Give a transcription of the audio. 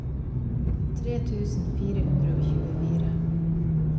tre tusen fire hundre og tjuefire